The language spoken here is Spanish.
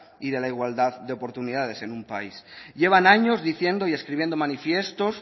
y de la igualdad de oportunidades en un país llevan años diciendo y escribiendo manifiestos